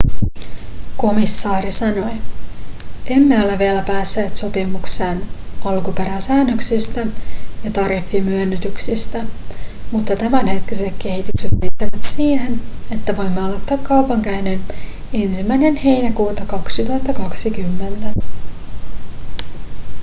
komissaari sanoi emme ole vielä päässeet sopimukseen alkuperäsäännöksistä ja tariffimyönnytyksistä mutta tämänhetkiset kehykset riittävät siihen että voimme aloittaa kaupankäynnin 1 heinäkuuta 2020